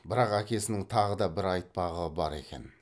бірақ әкесінің тағы да бір айтпағы бар екен